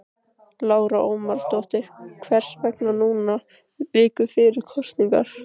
Lára Ómarsdóttir: Hvers vegna núna viku fyrir kosningar?